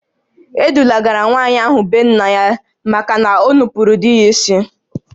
E dulagara nwaanyị ahụ be nna ya maka na o nupuuru di ya isi